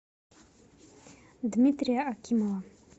дмитрия акимова